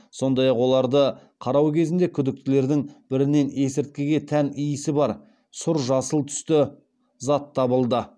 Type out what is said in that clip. сондай ақ оларды қарау кезінде күдіктілердің бірінен есірткіге тән иісі бар сұр жасыл түсті зат табылды